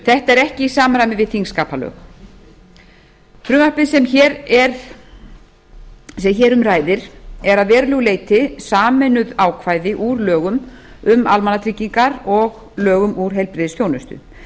þetta er ekki í samræmi við þingskapalög frumvarpið sem hér um ræðir er að verulegu leyti sameinuð ákvæði úr lögum um almannatryggingar og lögum um heilbrigðisþjónustu